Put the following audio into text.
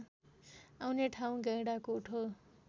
आउने ठाउँ गैंडाकोट हो